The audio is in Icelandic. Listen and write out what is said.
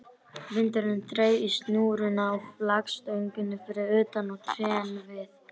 Vindurinn þreif í snúruna á flaggstönginni fyrir utan og trén við